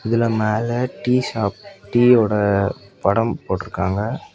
இதுல மேல tea shop டீயோட படம் போட்ருக்காங்க.